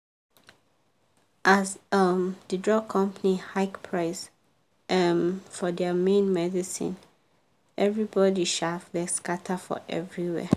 as um the drug company hike price um for thier main medicineeverybody um vex scatter for everywhere.